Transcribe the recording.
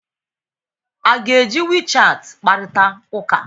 A ga-eji WeChat kparịta ụka?